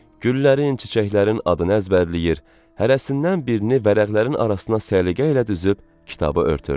Güllərin, çiçəklərin adını əzbərləyir, hərəsindən birini vərəqlərin arasına səliqə ilə düzüb kitabı örtürdü.